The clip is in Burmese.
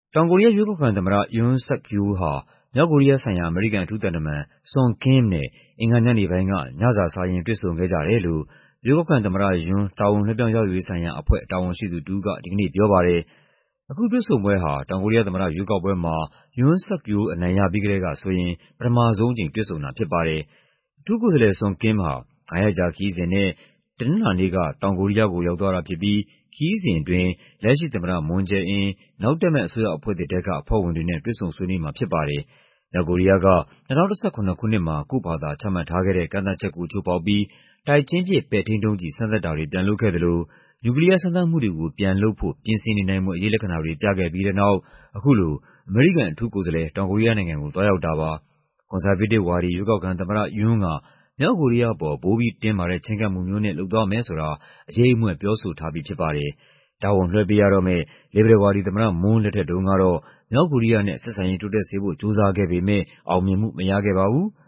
တောင်ကိုရီးယား ရွေးကောက်ခံသမ္မတ Yoon Suk-yeol ဟာ မြောက်ကိုရီးယားဆိုင်ရာ အမေရိကန် အထူးသံတမန် Sung Kim နဲ့ အင်္ဂါညနေပိုင်းက ညစာ စားရင်း တွေ့ဆုံခဲ့ကြတယ်လို့ ရွေးကောက်ခံသမ္မတ Yoon တာဝန်လွှဲပြောင်းရယူရေး ဆိုင်ရာအဖွဲ့ တာဝန်ရှိသူတဦးက ဒီကနေ့ပြောပါတယ်။ အခုတွေ့ဆုံပွဲဟာ တောင်ကိုရီးယားသမ္မတ ရွေးကောက်ပွဲမှာ Yoon Suk-yeol အနိုင်ရပြီးကတည်းကဆိုရင် ပထမဆုံးအကြိမ် တွေ့ဆုံတာဖြစ်ပါတယ်။ အထူးကိုယ်စားလှယ် Sung Kim ဟာ ငါးရက်ကြာခရီးစဉ်နဲ့ တနင်္လာနေ့က တောင်ကိုရီးယားကို ရောက်သွားတာဖြစ်ပြီး ခရီးစဉ်အတွင်း လက်ရှိသမ္မတ Moon Jae-in ၊ နောက်တက်မယ့် အစိုးရအဖွဲ့သစ်ထဲက အဖွဲ့ဝင်တွေနဲ့ တွေ့ဆုံဆွေးနွေးမှာဖြစ်ပါတယ်။ မြောက်ကိုရီးယားက ၂၀၁၇ ခုနှစ်မှာ ကိုယ့်ဖာသာချမှတ်ထားတဲ့ ကန့်သတ်ချက်ကို ချိုးဖောက်ပြီး တိုက်ချင်းပစ် ပဲ့ထိန်းဒုံးကျည် စမ်းသပ်တာတွေ ပြန်လုပ်ခဲ့သလို နျူကလီးယား စမ်းသပ်မှုတွေကို ပြန်လုပ်ဖို့ ပြင်ဆင်နေနိုင်ဖွယ် အရိပ်လက္ခဏာတွေ ပြခဲ့ပြီးတဲ့နောက် အခုလို အမေရိကန် အထူးကိုယ်စားလှယ် တောင်ကိုရီးယားနိုင်ငံကို သွားရောက်တာပါ။ ကွန်ဆာဗေးတစ်ဝါဒီ ရွေးကောက်ခံသမ္မတ Yoon က မြောက်ကိုရီးယားအပေါ် ပိုပြီးတင်းမာတဲ့ ချဉ်းကပ်မှုမျိုးနဲ့ လုပ်သွားမယ်ဆိုတာ အရိပ်အမြွက် ပြောဆိုထားပြီးဖြစ်ပါတယ်။ တာဝန်လွှဲပေးရတော့မယ့် လစ်ဘရယ်ဝါဒီ သမ္မတ Moon လက်ထက် တုန်းကတော့ မြောက်ကိုရီးယားနဲ့ ဆက်ဆံရေးတိုးတက်စေဖို့ ကြိုးစားခဲ့ပေမ ယ့် အောင်မြင်မှုမရခဲ့ပါဘူး။